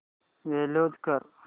close कर